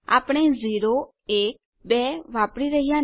આપણે 012 વાપરી નથી રહ્યા